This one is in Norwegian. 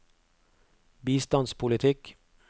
bistandspolitikk